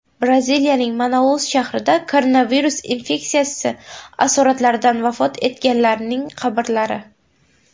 Braziliyaning Manaus shahrida koronavirus infeksiyasi asoratlaridan vafot etganlarning qabrlari.